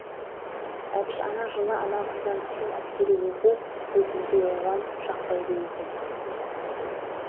әбіш ана жылы амалсыздан түскен әскери оқу бұл күнде оған жақпайды екен